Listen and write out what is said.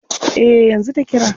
Eh, yanzu ta kira.